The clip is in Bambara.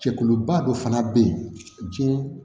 Cɛkuluba dɔ fana be yen jiɲɛ